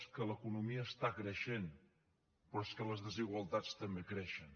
és que l’economia està creixent però és que les desigualtats també creixen